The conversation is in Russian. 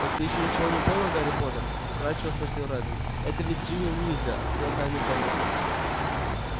так ты ещё ничего не понял гарри поттер вкрадчиво спросил реддл это ведь джинни уизли открыла тайную комнату